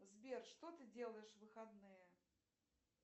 сбер что ты делаешь в выходные